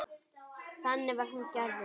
Þannig var hann gerður.